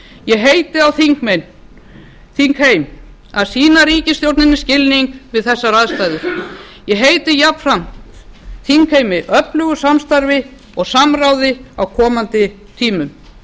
ég heiti á þingheim að sýna ríkisstjórninni skilning við þessar aðstæður ég heiti jafnframt þingheimi öflugu samstarfi og samráði á komandi tímum